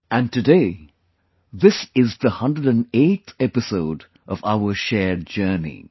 And of course today, this is the 108th episode of our shared journey